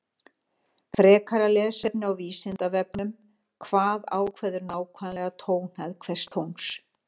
Frekara lesefni á Vísindavefnum Hvað ákveður nákvæmlega tónhæð hvers tóns?